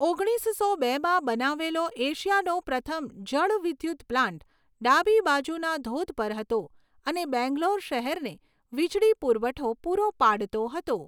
ઓગણીસસો બેમાં બનાવેલો એશિયાનો પ્રથમ જળ વિદ્યુત પ્લાન્ટ ડાબી બાજુના ધોધ પર હતો અને બેંગ્લોર શહેરને વીજળી પુરવઠો પૂરો પાડતો હતો.